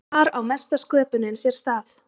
Þar á mesta sköpunin sér stað.